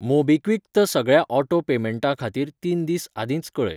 MobiKwik त सगळ्या auto पेमेंटां खातीर तीन दीस आदींच कऴय.